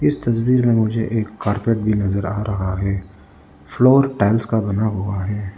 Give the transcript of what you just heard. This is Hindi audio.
तस्वीर में मुझे एक कार्पेट भी नजर आ रहा है फ्लोर टाइल्स का बना हुआ हैं।